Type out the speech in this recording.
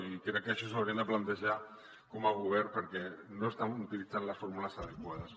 i crec que això s’ho haurien de plantejar com a govern perquè no estan utilitzant les fórmules adequades